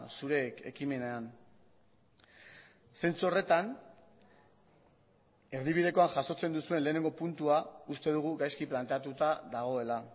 zure ekimenean zentzu horretan erdibidekoan jasotzen duzuen lehenengo puntua uste dugu gaizki planteatuta dagoela